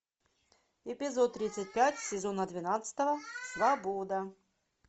эпизод тридцать пять сезона двенадцатого свобода